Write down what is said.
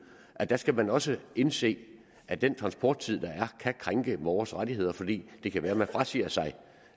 og der skal man også indse at den transporttid der er kan krænke borgeres rettigheder fordi det kan være at man frasiger sig